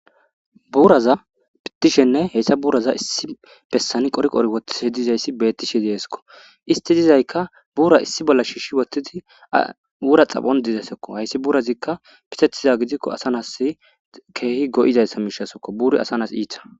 Buuraza pitishenne heyssa buuraza issi bessani qoriqori wottishi dizayssi bettishe deeeskko isti dizayka buura issi bolla shiishi wottidi wura xaphon dizesekko hayssi buurazikka pisetiza gidikko asa nas keehi go'izayssa miishasokko buuri asanas iita.